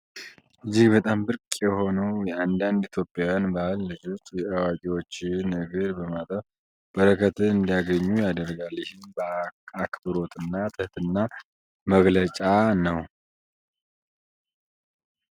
እጅግ በጣም ብርቅ የሆነው የአንዳንድ ኢትዮጵያውያን ባህል፤ ልጆች የአዋቂዎችን እግር በማጠብ በረከትን እንዲያገኙ ይደረጋል። ይህም አክብሮት እና ትህትና መገለጫ ነው።